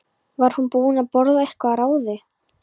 Var hún búin að borða eitthvað að ráði?